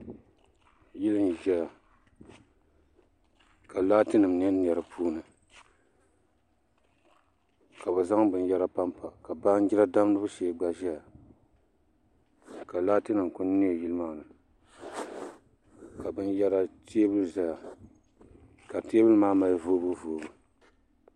Yili n ʒɛya ka laati nim niɛ niɛ di puuni ka bi zaŋ binyɛra panpa ka baanjiri damgibu shee gba ʒɛya ka laati nim ku niɛ yili maa ni ka teebuli ʒɛya ka teebuli maa mali voobu voobu